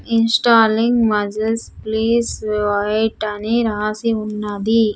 Installing muscles please wait అని రాసి ఉన్నది.